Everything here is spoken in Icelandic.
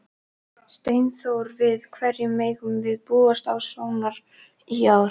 Steinþór, við hverju megum við búast á Sónar í ár?